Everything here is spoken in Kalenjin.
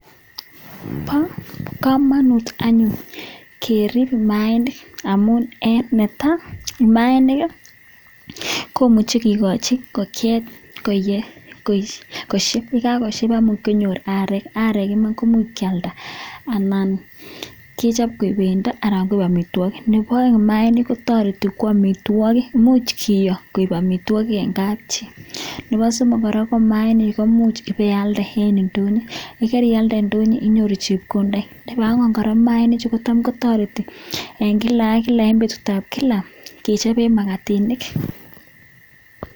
Ba kamanut anyun kerib Manik amun en netaa mainik komuche kekai ingokiet kosheb ak yekakosheb komuch konyor arek akomuch keyalda anan kechobbkoik bendo anan ko amitwagik Nebo aeng mainik kotareti koamitwagik kiyo anankoik amitwagik en kab chi Nebo somok ko mainik komuch iwe iyalde en indonyo yekarialde en indonyo iyoru chepkondok akora mainik chutok kotam kotareti en kila ak kila en betushek tugulkechben makatinik.